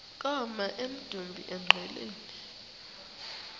koma emdumbi engqeleni